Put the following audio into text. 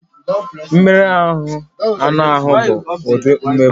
Mmeri anụ ahụ bụ ụdị mmegbu